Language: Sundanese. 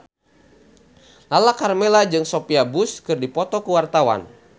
Lala Karmela jeung Sophia Bush keur dipoto ku wartawan